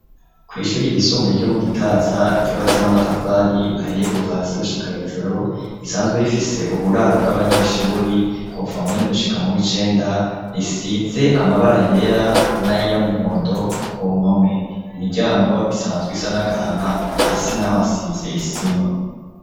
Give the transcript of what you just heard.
Kw'ishuri ryisumbuye ryo mu gitaza ryubatse n'amatafari ahiye kuva hasi gushika hejuru risanzwe rifise uburaro bw'abanyeshuri kupfa meni gushika muw' icenda risize amabara yera n'ayiyo amuhondo ku mpome imiryango isanzwe isa n'agahama hasi na ho hasizey isima.